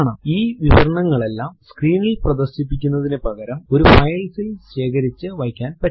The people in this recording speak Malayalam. ഈ വിവരണങ്ങളെല്ലാം സ്ക്രീനിൽ പ്രദർശിപ്പിക്കുന്നതിനു പകരം ഒരു file ൽ ശേഖരിച്ചു വയ്ക്കാൻ പറ്റും